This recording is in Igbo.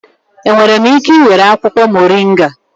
Enwere m ike ị were akwụkwọ moringa?